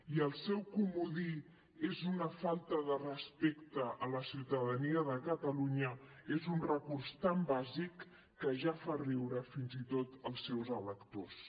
i el seu comodí és una falta de respecte a la ciutadania de catalunya és un recurs tan bàsic que ja fa riure fins i tot als seus electors